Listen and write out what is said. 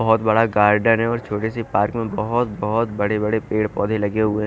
बहोत बड़ा गार्डन है और छोटी सी पार्क में बहोत बहोत बड़े बड़े पेड़ पौधे लगे हुए--